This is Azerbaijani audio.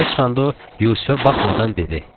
Yuxarı çıxanda o, Yusifə baxmadan dedi.